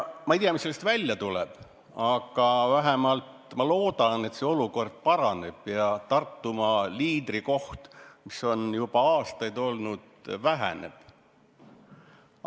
Ma ei tea, mis sellest välja tuleb, aga ma väga loodan, et see olukord paraneb ja Tartumaa liidrikoht, mis on juba aastaid olnud, kaob.